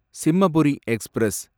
Simhapuri express